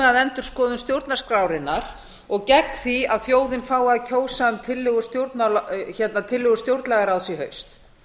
endurskoðun stjórnarskrárinnar og gegn því að þjóðin fái að kjósa um tillögur stjórnlagaráðs í haust